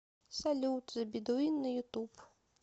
салют зе бедуин на ютуб